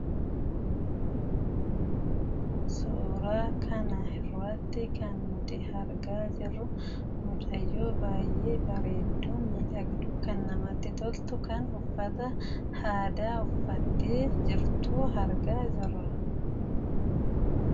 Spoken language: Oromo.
Suuraa kana irratti kan nuti argaa jirru mucayyoo baay'ee bareedduu, miidhagduu, kan namatti toltu, kan uffata aadaa uffattee jirtu argaa jirra.